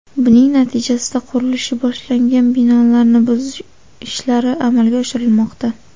Buning natijasida qurilishi boshlangan binolarni buzish ishlari amalga oshirilmoqda.